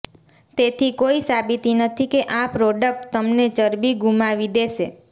તેથી કોઈ સાબિતી નથી કે આ પ્રોડક્ટ તમને ચરબી ગુમાવી દેશે